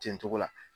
Ten cogo la